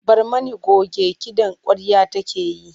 Barmani coge kiɗan ƙwarya take yi.